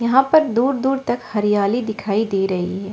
यहां पर दूर दूर तक हरियाली दिखाई दे रही है।